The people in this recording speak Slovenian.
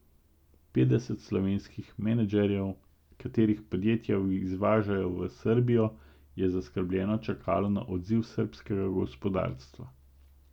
Petdeset slovenskih menedžerjev, katerih podjetja izvažajo v Srbijo, je zaskrbljeno čakalo na odziv srbskega gospodarstva.